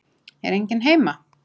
Er enginn heima?